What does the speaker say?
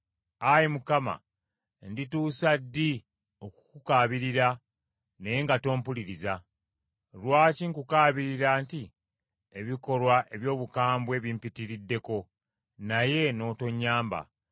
Ayi Mukama , ndituusa ddi okukukaabirira naye nga tompuliriza? Lwaki nkukaabirira nti, “Ebikolwa eby’obukambwe bimpitiriddeko,” naye n’otonnyamba?